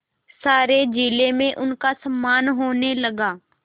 सारे जिले में उनका सम्मान होने लगा